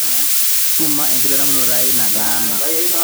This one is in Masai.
suma enkitadamunoto aai nataana